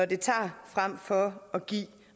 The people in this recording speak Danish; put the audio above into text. det tager frem for at give